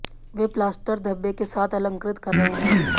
वे plaster धब्बे के साथ अलंकृत कर रहे हैं